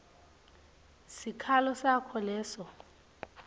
sikhalo sakho solo